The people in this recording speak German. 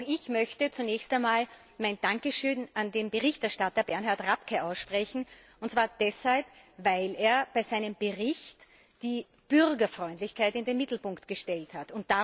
Auch ich möchte zunächst einmal mein Dankeschön an den Berichterstatter Bernhard Rapkay aussprechen, und zwar deshalb, weil er in seinem Bericht die Bürgerfreundlichkeit in den Mittelpunkt gestellt hat.